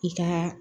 I ka